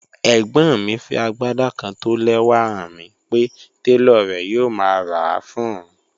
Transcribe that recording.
Ẹ̀gbọ́n mi fí agbádá kán tó ó lẹ́wà hàn mi pé tẹlọ̀ rè̩ yòò má rá a fún ọun.